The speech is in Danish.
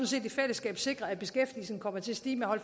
set i fællesskab sikret at beskæftigelsen kommer til at stige med og